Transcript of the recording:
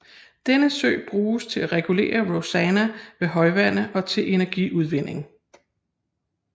Denne sø bruges til at regulere Rosanna ved højvande og til energiudvinding